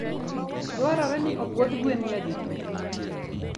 Dwarore ni opwodh gwen nyadidi?